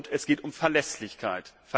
Es geht um Verlässlichkeit.